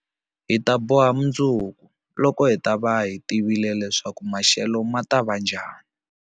Hi ta boha mundzuku, loko hi ta va hi tivile leswaku maxelo ma ta va njhani.